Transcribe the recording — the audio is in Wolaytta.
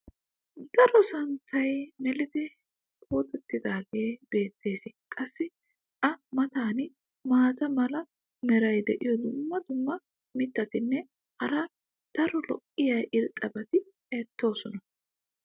Daro santtay mellidi puxxatidaagee beetees. qassi a matan maata mala meray diyo dumma dumma mitatinne hara daro lo'iya irxxabati beetoosona.